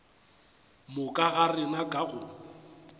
moka ga rena ka go